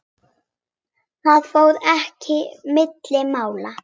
Það fór ekki milli mála.